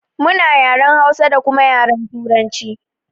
Muna yaren Hausa da kuma yaren turanci